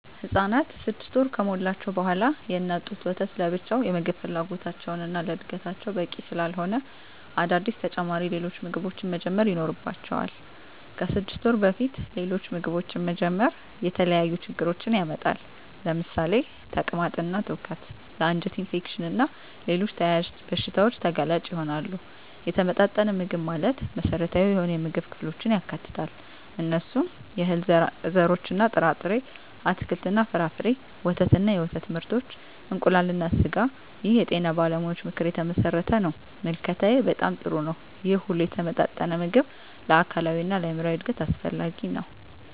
ህፃናት 6 ወር ከሞላቸው በዋላ የእናት ጡት ወተት ለብቻው የምግብ ፍላጎታቸውን እና ለዕድገታቸው በቂ ስላለሆነ አዳዲስ ተጨማሪ ሌሎች ምግቦችን መጀመር ይኖርባቸዋል። ከ6 ወር በፊት ሌሎች ምግቦችን መጀመር የተለያዩ ችግሮችን ያመጣል ለምሳሌ ተቅማጥ እና ትውከት ለ አንጀት ኢንፌክሽን እና ሌሎች ተያያዝ በሺታዎች ተጋላጭ ይሆናሉ። የተመጣጠነ ምግብ ማለት መሰረታዊ የሆኑ የምግብ ክፍሎችን ያካትታል። እነሱም፦ የእህል ዘርሮች እና ጥርጣሬ፣ አትክልት እና ፍራፍሬ፣ ወተት እና የወተት ምርቶች፣ እንቁላል እና ስጋ ይህ የጤና ባለሙያዎች ምክር የተመሠረተ ነው። ምልከታዬ በጣም ጥሩ ነው ይህ ሁሉ የተመጣጠነ ምግብ ለአካላዊ እና ለአይምራዊ እድገት አስፈላጊ ነው።